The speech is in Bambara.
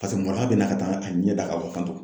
Paseke maloya bɛ n na ka taa ɲɛ da kan tan tɔ